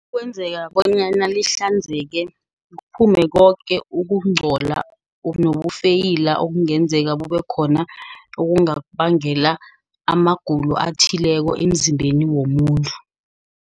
Kwenzeka bonyana lihlanzeke, kuphume koke ukunchola. Nobufeyila okungenzeka kube khona, okungabangela amagulo athileko emzimbeni womuntu.